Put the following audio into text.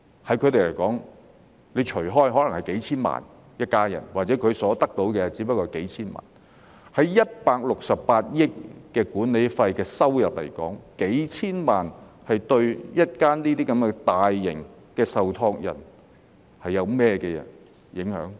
對他們來說，款項分攤開來，每間所得到的可能只不過是數千萬元，相對168億元的管理費收入來說，數千萬元對於如此大型的受託人會有甚麼影響？